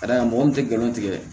Ka d'a kan mɔgɔ min tɛ galon tigɛ